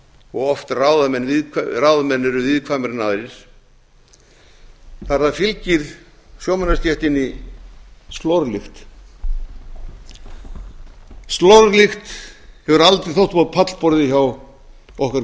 og ráðamenn eru viðkvæmari en aðrir það er að það fylgir sjómannastéttinni slorlykt slorlykt hefur aldrei átt upp á pallborðið hjá okkar